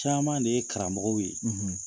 Caman de ye karamɔgɔ ye.